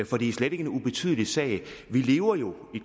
for det er slet ikke en ubetydelig sag vi lever jo i